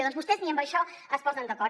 doncs vostès ni amb això es posen d’acord